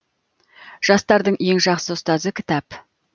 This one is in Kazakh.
жастардың ең жақсы ұстазы кітап